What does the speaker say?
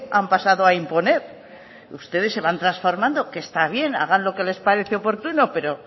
han pasado a imponer ustedes se van transformando que está bien hagan lo que les parecen oportuno pero